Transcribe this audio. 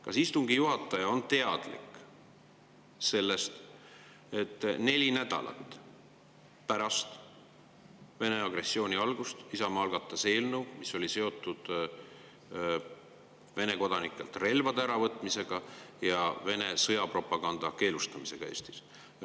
Kas istungi juhataja on teadlik sellest, et neli nädalat pärast Vene agressiooni algust algatas Isamaa eelnõu, mis oli seotud Vene kodanikelt relvade äravõtmisega ja Vene sõjapropaganda keelustamisega Eestis?